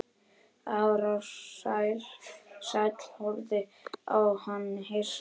Ársæll horfði á hann hissa.